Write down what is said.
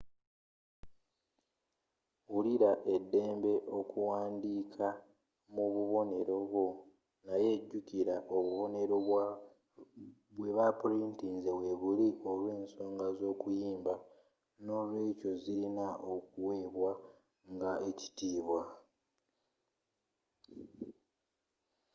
wulira eddembe okuwandiika mu bubonero bwo naye jukira obubonero bwe ba purintinze webuli olw'ensonga z'okuyimba nolwekyo zirina okuwebwa nga ekitiibwa